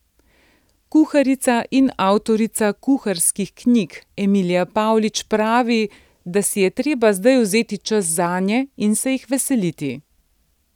Kuharica in avtorica kuharskih knjig Emilija Pavlič pravi, da si je treba zdaj vzeti čas zanje in se jih veseliti.